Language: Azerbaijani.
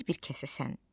bir-bir kəsəsən.